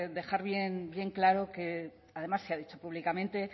dejar bien claro que además se ha dicho públicamente